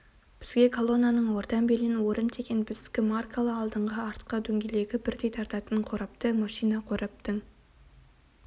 бізге колоннаның ортан белінен орын тиген біздікі маркалы алдыңғы артқы дөңгелегі бірдей тартатын қорапты машина қораптың